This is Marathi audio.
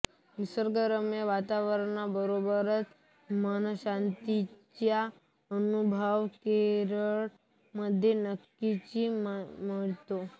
निसर्गरम्य वातावरणाबरोबरच मनशांती चा अनुभव केरळ मध्ये नक्कीच मिळतो